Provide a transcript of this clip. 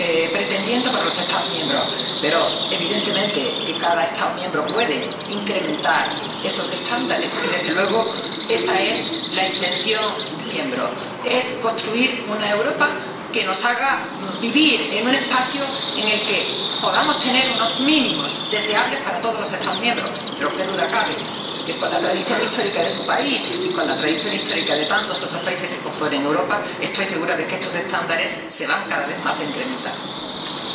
pretendiendo para los Estados miembros, pero, evidentemente, cada Estado miembro puede incrementar esos estándares y, desde luego, ésa es su intención. Esto es construir una Europa que nos haga vivir en un espacio en el que podamos tener unos mínimos deseables para todos los Estados miembros, pero qué duda cabe que con la tradición histórica de su país y con la tradición histórica de tantos otros países que componen Europa, estoy segura de que estos estándares se van a incrementar cada vez más.